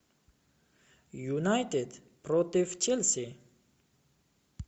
юнайтед против челси